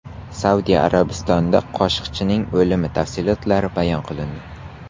Saudiya Arabistonida Qoshiqchining o‘limi tafsilotlari bayon qilindi.